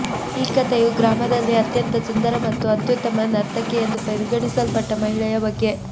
ಈ ಕಥೆಯು ಗ್ರಾಮದಲ್ಲಿ ಅತ್ಯಂತ ಸುಂದರ ಮತ್ತು ಅತ್ಯುತ್ತಮ ನರ್ತಕಿ ಎಂದು ಪರಿಗಣಿಸಲ್ಪಟ್ಟ ಮಹಿಳೆಯ ಬಗ್ಗೆ